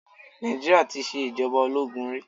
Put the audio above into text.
Nàìjíríà tí ṣe ìjọba ológun rí.